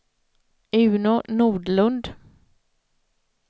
Uno Nordlund